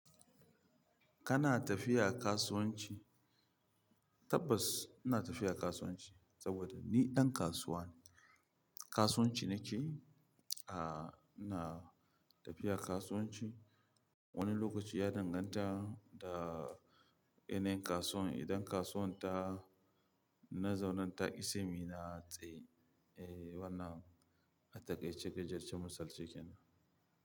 Kana tafiya kasuwanci? Tabbas ina tafiya kasuwanci saboda ni ɗan kasuwa ne. Kasuwanci nake, aah ina tafiya kasuwanci. Wani lokaci ya danganta da yanayin kasuwan, idan kasuwan ta, na zaunen ta qi sai muyi na tsaye. Eh wannan, atakaice gajarce musalce kenan.